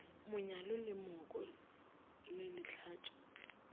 monyalo le mooko le lehlatšo